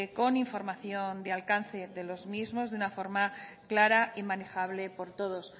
con información de alcance de los mismos de una forma clara y manejable por todos